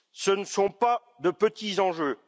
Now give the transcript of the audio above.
Ce ne sont pas de petits enjeux.